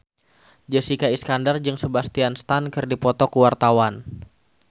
Jessica Iskandar jeung Sebastian Stan keur dipoto ku wartawan